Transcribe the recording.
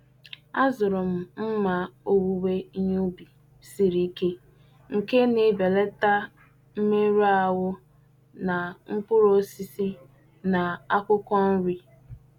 Azụrụ m mma owuwe ihe ubi siri ike nke na-ebelata mmerụ ahụ na mkpụrụ osisi na akwụkwọ nri.